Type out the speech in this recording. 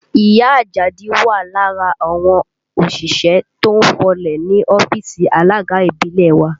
Ìyá Àjàdí wà lára àwọn òṣìṣẹ́ tó ń fọlẹ̀ ní ọ́fíìsì alága ìbílẹ̀ wa